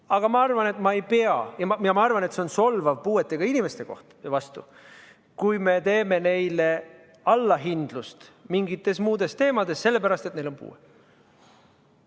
Aga ma arvan, et see on solvav puuetega inimeste suhtes, kui me teeme neile allahindlust mingites muudes teemades sellepärast, et neil on puue.